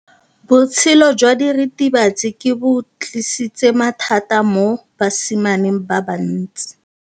Botshelo jwa diritibatsi ke bo tlisitse mathata mo basimaneng ba bantsi.